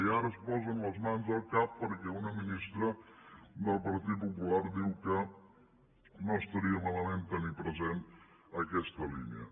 i ara es posen les mans al cap perquè una ministra del partit popular diu que no estaria malament tenir present aquesta línia